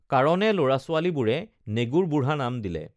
কাৰণে লৰাছোৱালীবোৰে নেগুৰ বুঢ়া নাম দিলে